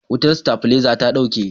wutan stabileza ya dauke